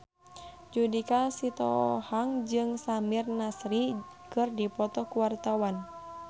Judika Sitohang jeung Samir Nasri keur dipoto ku wartawan